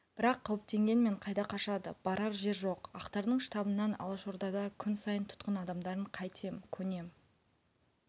бірақ қауіптенгенмен қайда қашады барар жер жоқ ақтардың штабынан алашордада күн сайын тұтқын адамдарын қайтем көнем